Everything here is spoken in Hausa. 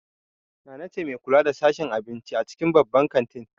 Nana ce mai kula da sashen abinci a cikin babban kantin.